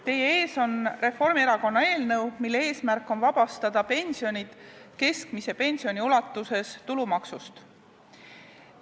Teie ees on Reformierakonna eelnõu, mille eesmärk on vabastada pensionid keskmise pensioni ulatuses tulumaksust.